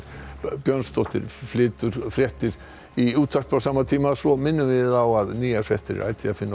Björnsdóttir flytur fréttir í útvarpi á sama tíma svo minnum við á að nýjar fréttir er ætíð að finna